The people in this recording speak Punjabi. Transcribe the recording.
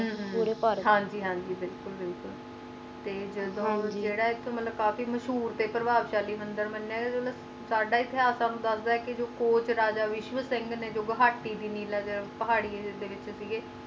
ਹੱਮ ਹਨ ਜੀ ਹਨ ਜੀ ਬਿਲਕੁਲ ਤੇ ਜੇਰਾ ਇਥਹੁ ਮਾਲਾਕਤੀ ਮਸ਼ਹੂਰ ਮੰਦਿਰ ਹੈ ਮੰਨਿਆ ਜਾਂਦਾ ਹੈ ਸੱਦਾ ਇਥੁ ਅੰਦਾਜ਼ਾ ਹੈ ਕ ਜੋ ਕੋਚ ਵਿੱਚਵੁ ਸਿੰਘ ਨੇ ਜੋ ਨੀਲਾ ਪੁਰ ਪਹਾੜੀ ਦੇ ਕੋਲ ਸੇ ਨੇ